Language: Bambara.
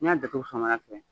N y'a da fo samaya fɛ